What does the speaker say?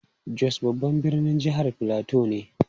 Jos babban birnin jihar Filato ne.